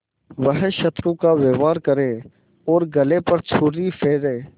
वह शत्रु का व्यवहार करे और गले पर छुरी फेरे